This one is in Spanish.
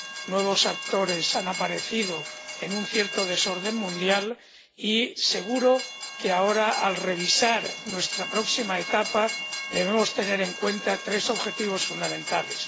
Nuevos actores han aparecido en un cierto desorden mundial y seguro que ahora, al revisar nuestra próxima etapa, debemos tener en cuenta tres objetivos fundamentales.